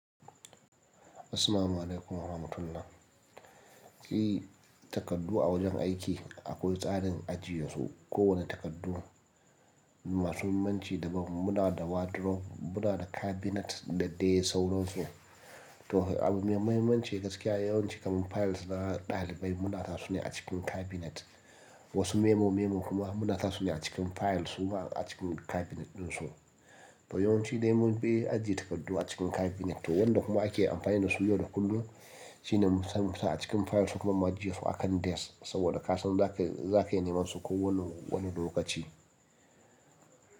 Assalamu alaikum wa rahmatullah. Takardu a wajen aiki akwai tsarin ajiye su. Ko wane takardu, masu mahimmanci da ban mu na da wardrobe, mu na da cabinet da dai sauransu. To abun mai mahimmanci gaskiya yawanci kaman files na ɗalibai mu na sa su ne a cikin cabinet. Wasu memo memo kuma mu na sa su ne a cikin files su ma a cikin cabinet ɗin su. Yawanci dai mun fi ajiye takardu a cikin cabinet. To wanda kuma ake amfani da su yau da kullum shine mu ciro musa a cikin files su kuma mu ajiye su a kan desk saboda ka san za ka, za ka iya neman su ko wani, wane lokaci.